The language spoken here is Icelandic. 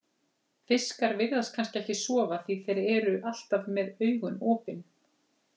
Fiskar virðast kannski ekki sofa því þeir eru alltaf með augun opin.